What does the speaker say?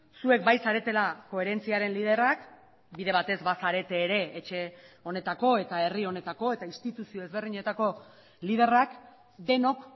zuek bai zaretela koherentziaren liderrak bide batez bazarete ere etxe honetako eta herri honetako eta instituzio ezberdinetako liderrak denok